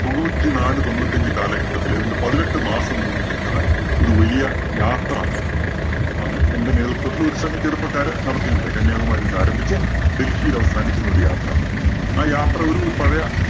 തൊണ്ണൂറ്റിനാല് തൊണ്ണൂറ്റഞ്ച് കാലഘട്ടത്തില് ഏതാണ്ട് പതിനെട്ട് മാസം നീണ്ടു നില്‍ക്കുന്ന ഒരു വലിയ യാത്ര അന്ന് എന്റെ നേതൃത്വത്തിൽ ഒരു സംഘം ചെറുപ്പക്കാര് നടത്തുകയുണ്ടായി. കന്യാകുമാരിയിൽ നിന്ന് ആരംഭിച്ച് ഡൽഹിയിൽ അവസാനിക്കുന്ന ഒരു യാത്ര. ആ യാത്ര ഒരു പഴയ